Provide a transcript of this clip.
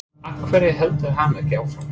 Af hverju heldur hann ekki áfram?